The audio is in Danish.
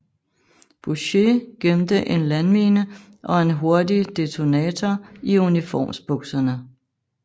Bussche gemte en landmine og en hurtig detonator i uniformsbukserne